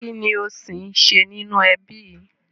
Kinni ó sì ń ṣe nínú ẹbí yìí